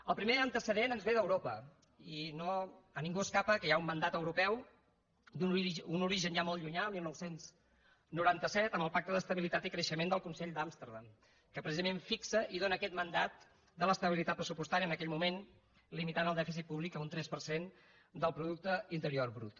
el primer antecedent ens ve d’europa i a ningú escapa que hi ha un mandat europeu d’un origen ja molt llunyà dinou noranta set amb el pacte d’estabilitat i creixement del consell d’amsterdam que precisament fixa i dóna aquest mandat de l’estabilitat pressupostària en aquell moment limitant el dèficit públic a un tres per cent del producte interior brut